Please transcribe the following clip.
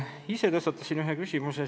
Ise tõstatasin ka ühe küsimuse.